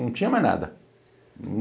Não tinha mais nada.